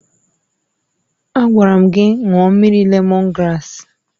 Agwara m gị ṅụọ mmiri lemọn graasị!